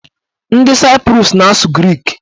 Ndị Saiprus na-asụ grik.